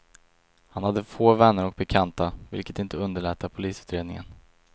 Han hade få vänner och bekanta, vilket inte underlättar polisutredningen.